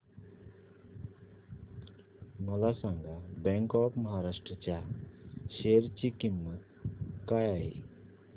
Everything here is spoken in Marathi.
मला सांगा बँक ऑफ महाराष्ट्र च्या शेअर ची किंमत काय आहे